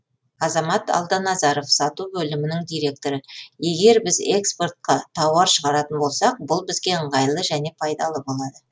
азамат алданазаров сату бөлімінің директоры егер біз экспортқа тауар шығаратын болсақ бұл бізге ыңғайлы және пайдалы болады